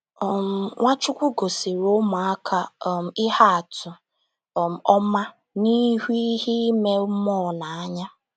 um Nwachukwu gosiri ụmụaka um ihe atụ um ọma n’ịhụ ihe ime mmụọ n’anya.